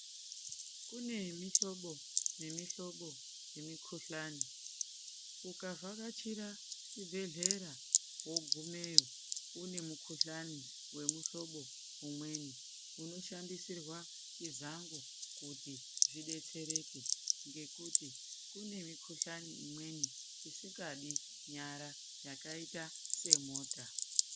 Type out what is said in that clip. Kune mihlobo nemihlobo yemikuhlani, ukavhakachira chibhehlera wogumeyo une mukuhlani wemuhlobo umweni unoshandisirwa chizango kuti zvidetsereke ngekuti kune mikuhlani imweni isikadi nyara yakaita semota.